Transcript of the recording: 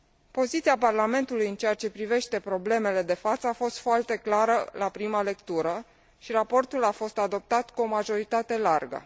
Poziția Parlamentului în ceea ce privește problemele de față a fost foarte clară la prima lectură și raportul a fost adoptat cu o majoritate largă.